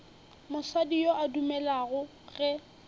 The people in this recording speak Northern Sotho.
mosadi yo a dumelago ge